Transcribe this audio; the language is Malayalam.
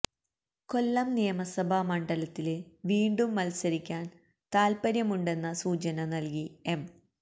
കൊല്ലം നിയമസഭ മണ്ഡലത്തില് വീണ്ടും മത്സരിക്കാന് താത്പര്യമുണ്ടെന്ന സൂചന നല്കി എം